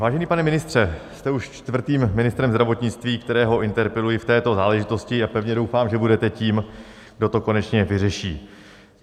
Vážený pane ministře, jste už čtvrtým ministrem zdravotnictví, kterého interpeluji v této záležitosti, a pevně doufám, že budete tím, kdo to konečně vyřeší.